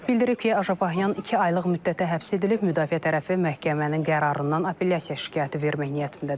Bildirib ki, Ajan iki aylıq müddətə həbs edilib, müdafiə tərəfi məhkəmənin qərarından apellyasiya şikayəti vermək niyyətindədir.